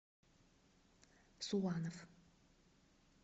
суанов